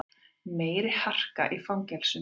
Meiri harka í fangelsunum